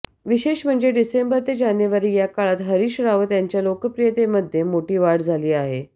विशेष म्हणजे डिसेंबर ते जानेवारी या काळात हरीश रावत यांच्या लोकप्रियतेमध्ये मोठी वाढ झाली आहे